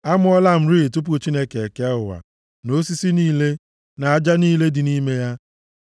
E, amụọla m rịị tupu Chineke ekee ụwa na osisi niile, na aja niile dị nʼime ya.